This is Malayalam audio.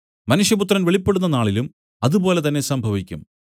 മനുഷ്യപുത്രൻ വെളിപ്പെടുന്ന നാളിലും അതുപോലെ തന്നെ സംഭവിക്കും